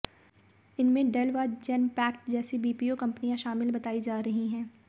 इनमें डेल व जेनपैक्ट जैसी बीपीओ कंपनियां शामिल बतायी जा रही हैं